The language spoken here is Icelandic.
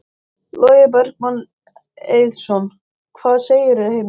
Logi Bergmann Eiðsson: Hvað segirðu, Heimir?